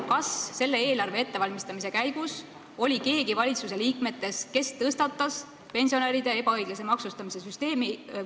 Kas selle eelarve ettevalmistamise käigus keegi valitsusest tõstatas pensionäride ebaõiglase maksustamise küsimuse?